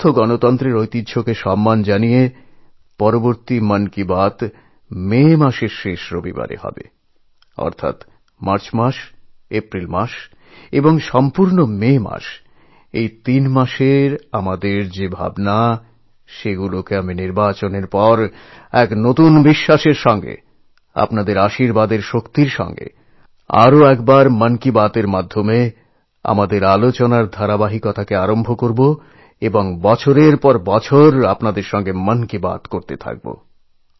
সুস্থ গণতন্ত্রের নিয়ম মেনে এর পরের মন কি বাত আগামী মে মাসের শেষ রবিবারেই হবে অর্থাৎ এই মার্চ এপ্রিল ও মে এই তিন মাসের যত ভাবনাচিন্তা আছে নির্বাচনের পর আপনাদের শুভেচ্ছা ও বিশ্বাসের শক্তিতে বলীয়ান হয়ে আপনাদের আশীর্বাদ নিয়ে আবার আমাদের মন কি বাতএর মাধ্যমে আমাদের এই কথাবার্তার প্রক্রিয়া আবার শুরু করব এবং আগামী বহু বছর ধরে মন কি বাত বলতেই থাকব